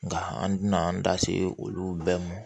Nka an tɛna an da se olu bɛɛ ma